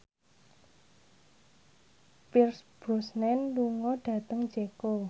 Pierce Brosnan lunga dhateng Ceko